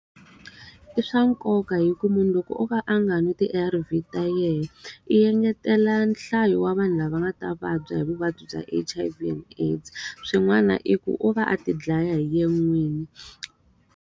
I swa nkoka hikuva munhu loko o va a nga nwi ti-A_R_V ta yena, i engetela nhlayo wa vanhu lava nga ta vabya hi vuvabyi bya H_I_V and AIDS. Swin'wana i ku u va a ti dlaya hi yena n'wini.